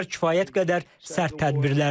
Bunlar kifayət qədər sərt tədbirlərdir.